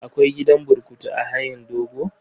Akwai gidan burkutu a hayin dogo?